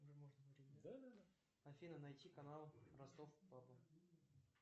афина найти канал ростов папа